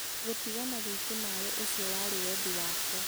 gũtigana gwitũ nawe ũcio warĩ wendi wakwa.